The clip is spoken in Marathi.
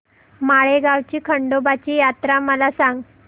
माळेगाव ची खंडोबाची यात्रा मला सांग